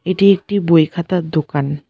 এটি একটি বই খাতার দোকান।